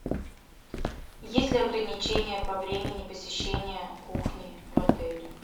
есть ли ограничения по времени посещения кухни в отеле